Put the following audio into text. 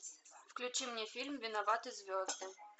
включи мне фильм виноваты звезды